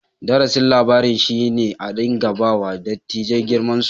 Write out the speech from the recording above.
Darasin labarin shi ne a dinka ba wa dattijai girman su.